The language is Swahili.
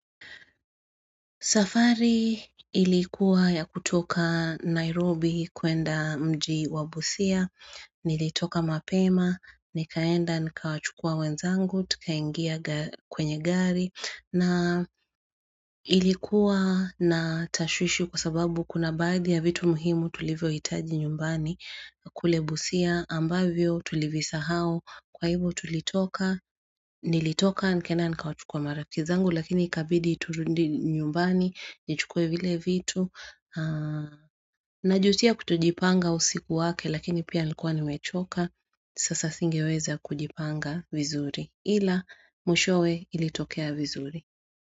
Safari ilikuwa ya kutoka Nairobi kwenda mji wa busia, nilitoka mapema, nikaenda nikawachukua wenzangu, tukaingia kwenye gari, na ilikuwa na tashwishwi kwa sababu kuna baadhi ya vitu muhimu tulivyo hitaji nyumbani kule busia ambavyo tulivisa hau. Kwa hivyo tulitoka, nilitoka nikaenda nikawachukua marafikizangu lakini kabidi iturudi nyumbani, nichukue vile vitu. Najutia kutojipanga usiku wake lakini pia nilikuwa nimechoka, sasa singeweza kujipanga vizuri. Ila, mwishowe ilitokea vizuri.